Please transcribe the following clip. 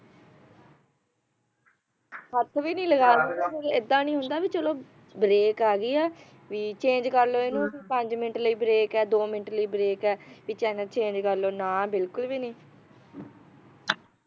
ਹੱਥ ਵੀ ਨੀ ਲਗਾਉਣ ਦਿੰਦੇ ਐਦਾਂ ਨਹੀਂ ਹੁੰਦਾ ਵੀ ਚਲੋ brake ਆ ਗਈ ਆ ਵੀ change ਕਰ ਲੋ ਇਨ੍ਹਾਂ ਵੀ ਪੰਜ minute ਲਈ brake ਆ ਦੋ minute ਲਈ brake ਆ ਵੀ channel change ਕਰ ਲੋ